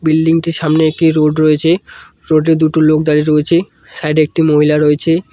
Building টির সামনে একটি রোড রয়েছে রোড এ দুটো লোক দাঁড়িয়ে রয়েছে সাইড এ একটি মহিলা রয়েছে।